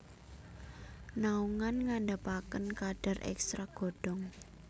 Naungan ngandhapaken kadar ekstrak godhong